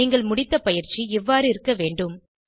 நீங்கள் முடித்த பயிற்சி இவ்வாறு இருக்க வேண்டும்